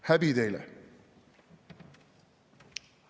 Häbi teile!